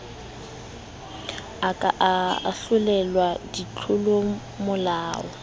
a ka a ahlolelwa ditlolomolao